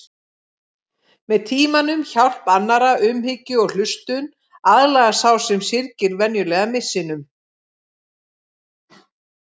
Með tímanum, hjálp annarra, umhyggju og hlustun aðlagast sá sem syrgir venjulega missinum.